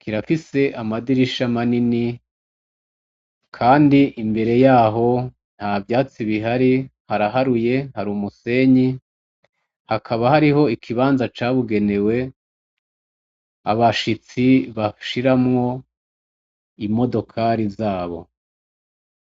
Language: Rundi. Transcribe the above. kirafise amadirisha manini kandi imbere yaho ntavyatsi bihari hara haruye hari umusenyi, hakaba hariho ikibanza cawugenewe abashitsi bashiramwo imodokari zabo.